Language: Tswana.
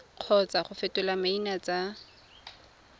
kgotsa go fetola maina tsa